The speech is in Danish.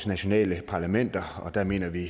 nationale parlamenter og der mener vi